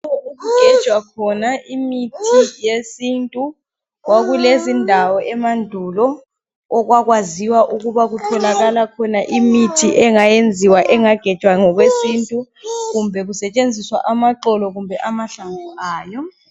Okugejwa khona imithi yesintu, kwakulezindawo emandulo okwakwaziwa ukuba kutholakala khona imithi engayenziwa, engagejwa ngokwesintu kumbe kusetshenziswa amaxolo kumbe amahlamvu ayo.